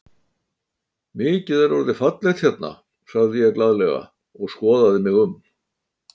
Mikið er orðið fallegt hérna sagði ég glaðlega og skoðaði mig um.